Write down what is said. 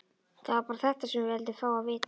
Það var bara þetta sem við vildum fá að vita.